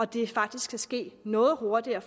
det faktisk kan ske noget hurtigere